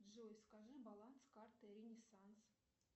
джой скажи баланс карты ренессанс